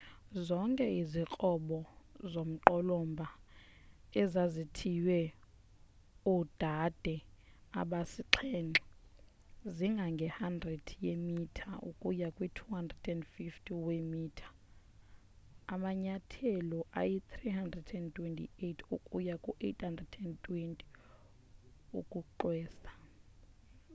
zonke izikrobo zomqolomba ezazithiywe oodade abasixhenxe zingange 100 yeemitha ukuya ku-250 weemitha amanyathelo ayi328 ukuya ku820 ukuxwesa